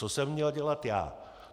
Co jsem měl dělat já?